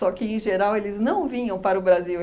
que, em geral, eles não vinham para o Brasil.